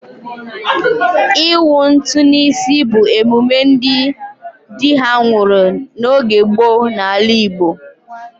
Ịwụ ntụ n'isi bụ emume ndị dị ha nwụrụ n'oge gboo n'ala Igbo.